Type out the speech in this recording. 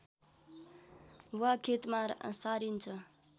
वा खेतमा सारिन्छ